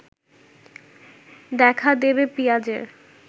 দেখা দেবে পিঁয়াজের